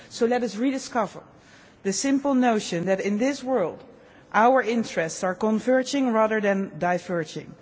So let us rediscover the simple notion that in this world our interests are converging rather than diverging.